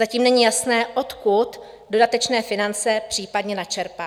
Zatím není jasné, odkud dodatečné finance případně načerpá.